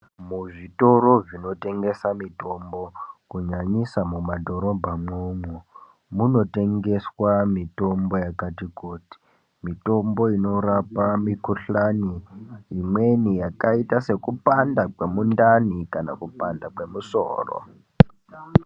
Muzvitoro zvinotengesa mitombo kunyanyisa mumadhorobha mwomwo munotengeswa mitombo yakati kuti. Mitombo inorapa mikhuhlani imweni yakaita sekupanda kwemundani kana kupanda kwemusoro.